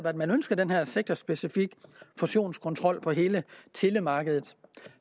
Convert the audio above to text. at man ønsker den her sektorspecifikke fusionskontrol på hele telemarkedet